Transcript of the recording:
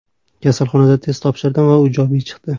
Kasalxonada test topshirdim va u ijobiy chiqdi.